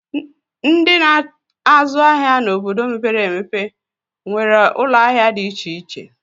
Ndị na-azụ ahịa n'obodo mepere emepe nwere ụlọahịa dị iche iche